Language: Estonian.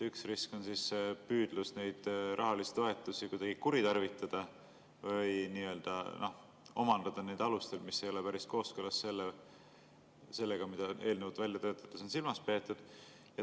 Üks risk on püüdlus neid rahalisi toetusi kuidagi kuritarvitada või nii-öelda omandada nendel alustel, mis ei ole päris kooskõlas sellega, mida eelnõu välja töötades on silmas peetud.